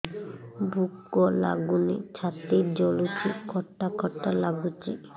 ଭୁକ ଲାଗୁନି ଛାତି ଜଳୁଛି ଖଟା ଖଟା ଲାଗୁଛି